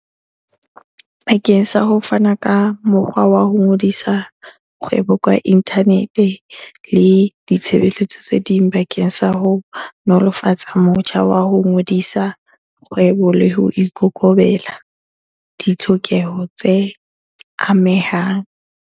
Bakeng sa ho fana ka mokgwa wa ho ngodisa kgwebo ka inthanete le ditshebeletso tse ding bakeng sa ho nolofatsa motjha wa ho ngodisa kgwebo le ho ikobela ditlhokeho tse amehang.